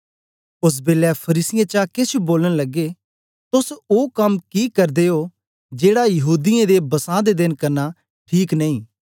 ओसबेलै फरीसियें चा केछ बोलन लगे तोस ओ कम कि करदे ओ जेड़ा यहूदीयें दे बसां दे देन करना ठीक नेई